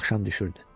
Axşam düşürdü.